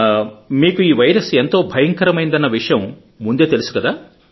మీకు ఈ వైరస్ ఎంతో భయంకరమైనదన్న అన్న విషయం ముందే తెలుసుకదా